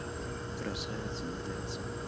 красавицы не злятся